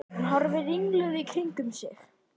Hún horfir ringluð í kringum sig.